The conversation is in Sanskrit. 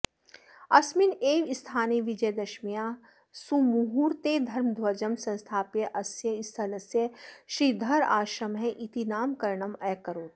अस्मिन् एव स्थाने विजयदशम्याः सुमुहूर्ते धर्मध्वजं संस्थाप्य अस्य स्थलस्य श्रीधराश्रमः इति नामकरणम् अकरोत्